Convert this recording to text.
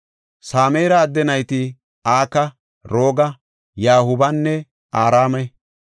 Sameera adde nayti Aka, Rooga, Yahuubanne Araame.